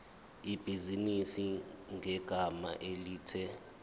ibhizinisi ngegama elithi